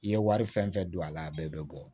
I ye wari fɛn fɛn don a la a bɛɛ bɛ bɔ